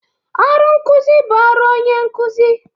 Ọrụ nkụzị bụ ọrụ onye nkụzị.